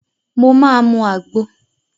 Mo máa mu àgbo.